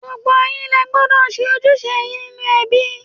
Gbogbo yín lẹ gbọ́dọ̀ ṣe ojúṣe yín nínú ẹbí.!